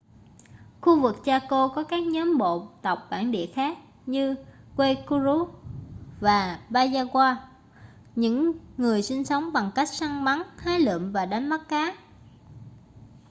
khu vực chaco có các nhóm bộ tộc bản địa khác như guaycurú và payaguá những người sinh sống bằng cách săn bắn hái lượm và đánh bắt cá